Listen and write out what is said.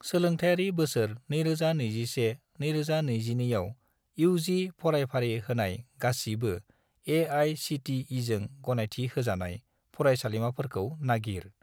सोलोंथायारि बोसोर 2021 - 2022 आव इउ.जि. फरायफारि होनाय गासिबो ए.आइ.सि.टि.इ.जों गनायथि होजानाय फरायसालिमाफोरखौ नागिर।